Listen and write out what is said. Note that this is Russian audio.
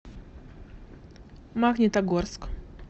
магнитогорск